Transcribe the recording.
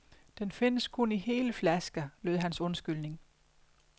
Den findes kun i hele flasker, lød hans undskyldning.